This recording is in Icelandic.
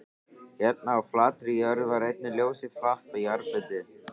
Hérna á flatri jörðinni var einnig ljósið flatt og jarðbundið.